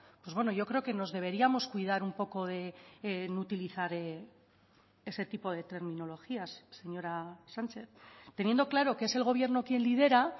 pues bueno yo creo que nos deberíamos cuidar un poco de utilizar ese tipo de terminologías señora sánchez teniendo claro que es el gobierno quien lidera